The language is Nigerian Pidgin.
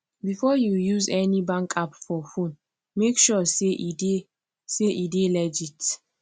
before you use any bank app for phone make sure say e dey say e dey legit